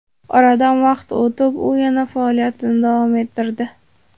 Oradan vaqt o‘tib, u yana faoliyatini davom ettirdi.